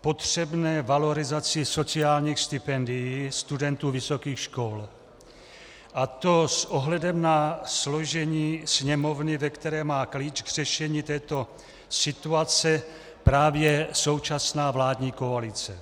potřebné valorizaci sociálních stipendií studentů vysokých škol, a to s ohledem na složení Sněmovny, ve které má klíč k řešení této situace právě současná vládní koalice.